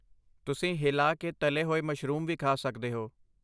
ਤੁਸੀਂ ਹਿਲਾ ਕੇ ਤਲੇ ਹੋਏ ਮਸ਼ਰੂਮ ਵੀ ਖਾ ਸਕਦੇ ਹੋ।